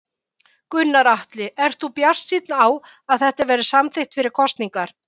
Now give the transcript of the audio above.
Gunnar Atli: Ert þú bjartsýnn á að þetta verði samþykkt fyrir kosningar?